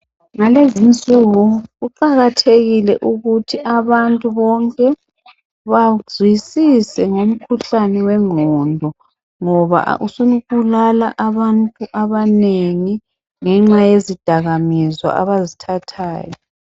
Ngalezi nsuku kuqakathekile ukuthi abantu bonke bazwisise ngomkhuhlane wengqondo ngoba usubulala abantu abanengi ngenxa yezidakwamizwa abazithathayo.